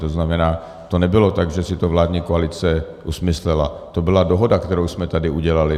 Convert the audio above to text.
To znamená, to nebylo tak, že si to vládní koalice usmyslela, to byla dohoda, kterou jsme tady udělali.